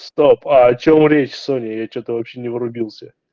стоп а о чём речь соня я что-то вообще не врубился